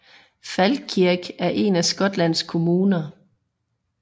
Falkirk er en af Skotlands kommuner